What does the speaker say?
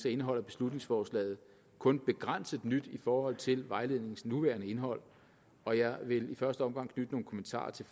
indeholder beslutningsforslaget kun begrænset nyt i forhold til vejledningens nuværende indhold og jeg vil i første omgang knytte nogle kommentarer til